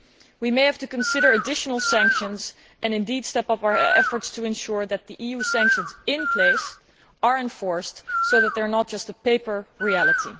We may have to consider additional sanctions and indeed step up our efforts to ensure that the EU sanctions in place are enforced so that they are not just a paper reality.